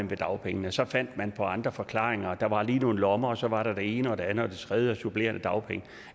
ved dagpengene så fandt man på andre forklaringer der var lige nogle lommer og så var der det ene og det andet og det tredje og supplerende dagpenge